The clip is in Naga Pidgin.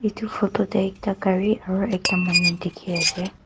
etu photo te ekta gari aru ekta manu dikhi ase.